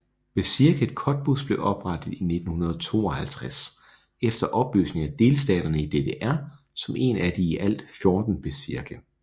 Bezirket Cottbus blev oprettet i 1952 efter opløsningen af delstaterne i DDR som en af i alt 14 bezirke